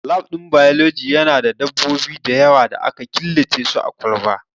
Lab ɗin biology Yana da dabbobi da yawa da aka killace su a kwalba